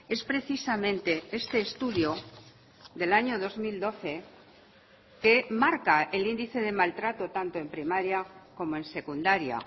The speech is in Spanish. es precisamente este estudio del año dos mil doce que marca el índice de maltrato tanto en primaria como en secundaria